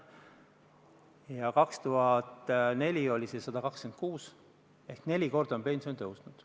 Aastal 2004 oli see 126 eurot ehk siis neli korda on pension tõusnud.